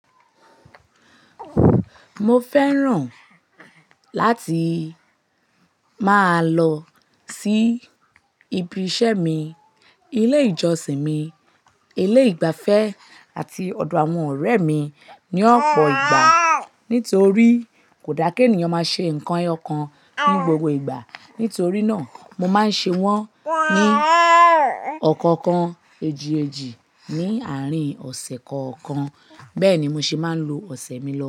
Mo fẹ́ràn láti máa lọ sí ibi iṣẹ́ mi, ilé ìjọsìn mi, ilé ìgbafẹ́ àti ọ̀dọ̀ àwọn ọ̀rẹ́ mi ní ọ̀pọ̀ ìgbà. Nítorí kò dàa kí ènìyàn máa ṣe nǹkan ẹyọkan ní gbogbo ìgbà. Nítorí náà, mo máa ń ṣe wọ́n ní ọ̀kọ̀ọ̀kan èjì-èjì ní àárín ọ̀sẹ̀ kọ̀ọ̀kan. Bẹ́ẹ̀ ni mo se máa ń lo ọ̀sẹ̀ mi lọ.